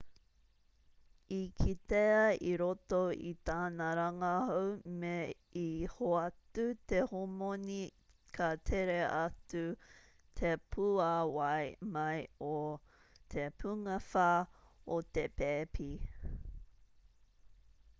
i kitea i roto i tana rangahau me i hoatu te homoni ka tere atu te pūāwai mai o te pungawha o te pēpi